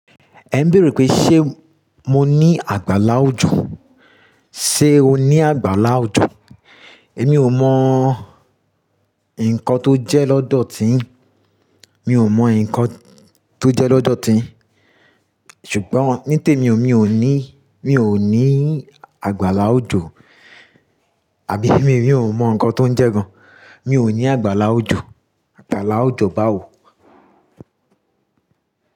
Ẹ ń béèrè pé ṣe mo ní àgbàlá òjọ̀, ṣe o ní àgbàlá òjọ̀? Èmi ò mọ nǹkan tó jẹ́ lọ́dọ̀ ti yi, mi ò mọ nǹkan tó jẹ́ lọ́dọ̀ ti yi, ṣùgbọ́n ní tèmi o mi ò ní, mi ò ní àgbàlá òjọ̀, àbí mi ò mọ nǹkan tó ń jẹ́ gan. Mi ò ní àgbàláwòjọ̀, àgbàláwòjọ̀ báwo?